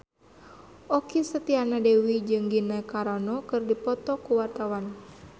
Okky Setiana Dewi jeung Gina Carano keur dipoto ku wartawan